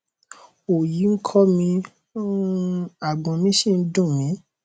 òòyì ń kọ mi um àgbọn mi sì ń ń dùn mí